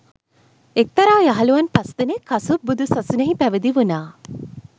එක්තරා යහළුවන් පස් දෙනෙක් කසුප් බුදු සසුනෙහි පැවිදි වුණා